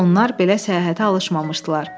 Onlar belə səyahətə alışmamışdılar.